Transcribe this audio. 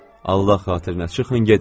Allah xatirinə çıxın gedin!